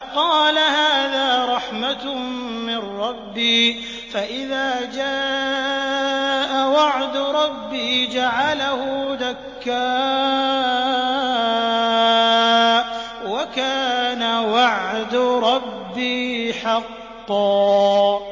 قَالَ هَٰذَا رَحْمَةٌ مِّن رَّبِّي ۖ فَإِذَا جَاءَ وَعْدُ رَبِّي جَعَلَهُ دَكَّاءَ ۖ وَكَانَ وَعْدُ رَبِّي حَقًّا